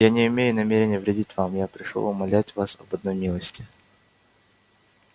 я не имею намерения вредить вам я пришёл умолять вас об одной милости